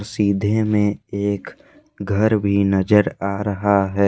सीधे में एक घर भी नजर आ रहा है।